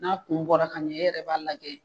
N'a kun bɔra ka ɲɛ e yɛrɛ b'a lajɛ.